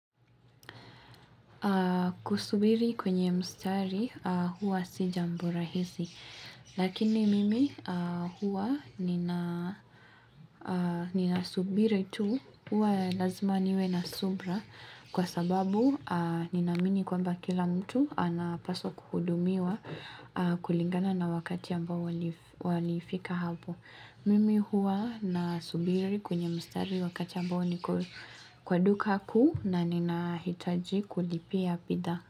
Kusubiri kwenye mstari huwa si jambo rahisi Lakini mimi huwa nina subiri tu huwa lazima niwe na subira Kwa sababu ninaamini kwamba kila mtu anapaswa kuhudumiwa kulingana na wakati ambao walifika hapo Mimi huwa nasubiri kwenye mstari wakati ambao niko kwa duka kuu na ninahitaji kulipia bidhaa.